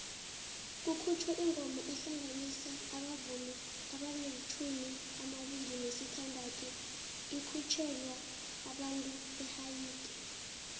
kukhutjhwe ingoma ehlanganisa abavumi amalitjhumi amabili nesithandathu ikhutjhelwa abantu behaiti